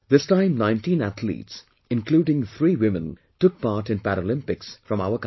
This time 19 athletes, including three women, took part in Paralympics from our country